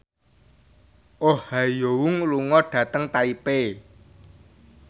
Oh Ha Young lunga dhateng Taipei